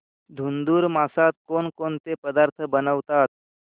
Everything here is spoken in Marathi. धुंधुर मासात कोणकोणते पदार्थ बनवतात